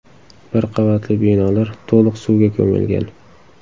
Bir qavatli binolar to‘liq suvga ko‘milgan.